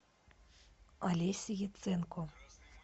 алеся яценко